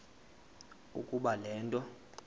ukuba le nto